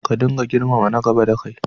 Ka dinga girmama na gaba dakai.